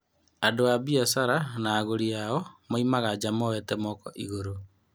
Andũ a biacara na agũri ao maumaga njaa moete moko igũrũ.